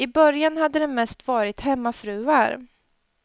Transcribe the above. I början hade det mest varit hemmafruar.